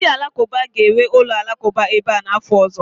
Ndị Alakụba ga-ewu ụlọ alakụba ebe a n'afọ ọzọ